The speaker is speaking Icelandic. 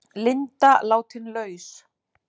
Linda látin laus